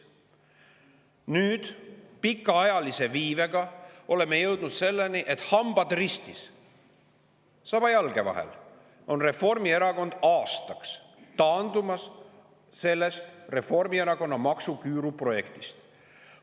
Nüüd pikaajalise viibega oleme jõudnud selleni, et hambad ristis, saba jalge vahel, on Reformierakond aastaks taandumas sellest Reformierakonna maksuküüru projektist.